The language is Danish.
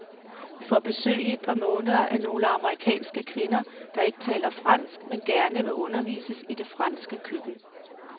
Vi får besøg i et par måneder af nogle amerikanske kvinder, der ikke taler fransk, men gerne vil undervises i det franske køkken.